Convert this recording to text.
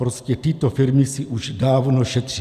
Prostě tyto firmy si už dávno šetří.